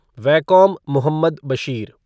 Vaikom Muhammad Bashir